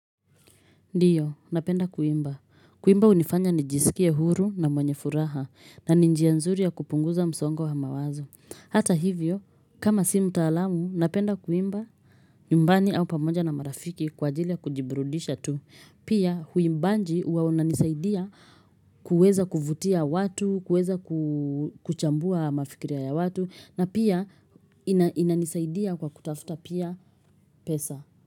Ndio, napenda kuimba. Kuimba unifanya ni jisikie huru na mwenye furaha na ninjianzuri ya kupunguza msongo wa mawazo. Hata hivyo, kama si mtaalamu, napenda kuimba nyumbani au pamoja na marafiki kwa jili ya kujiburudisha tu. Pia huimbanji uwa unanisaidia kuweza kuvutia watu, kuweza ku kuchambua mafikiria ya watu na pia ina inanisaidia kwa kutafuta pia pesa.